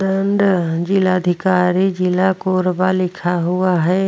And जिला अधिकारी जिला कोरबा लिखा हुआ हैं।